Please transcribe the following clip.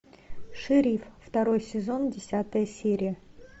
шериф второй сезон десятая серия